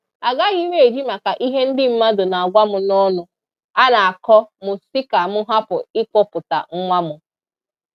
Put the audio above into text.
Agaghị m eji maka ihe ndị mmadụ na-agwa m na ọnụ a na-akọ m sị ka m hapụ ịkpọpụta nwa m.